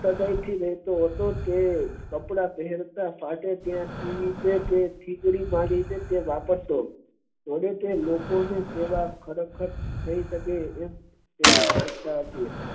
સાદય થી રેહતો હતો કપડા પહેરતા ફાટે ત્યાં થીગડા મારી ને વાપરતો તે લોકો ની સેવા ખરેખર થઇ સકે તેવી તેની માનતા હતી